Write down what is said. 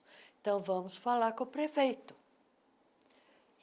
Então vamos falar com o prefeito.